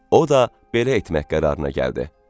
O da belə etmək qərarına gəldi.